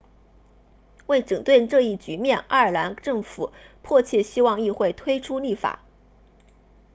为整顿这一局面爱尔兰政府迫切希望议会推出立法